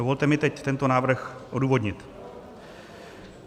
Dovolte mi teď tento návrh odůvodnit.